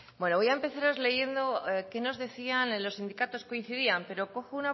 bueno voy a empezaros leyendo qué nos decían en los sindicatos coincidían pero cojo